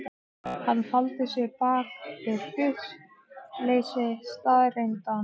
Hann faldi sig bak við hlutleysi staðreyndanna.